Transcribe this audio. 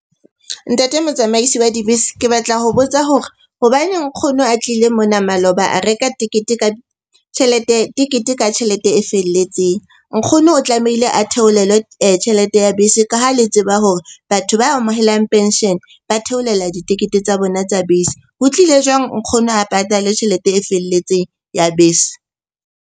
Ntate motsamaisi wa dibese, ke batla ho botsa hore hobaneng nkgono a tlile mona maloba a reka tekete ka tjhelete, tekete ka tjhelete e felletseng. Nkgono o tlamehile a theolelwe tjhelete ya bese ka ha le tseba hore batho ba amohelang penshene ba theolela ditekete tsa bona tsa bese. Ho tlile jwang nkgono a patale tjhelete e felletseng ya bese?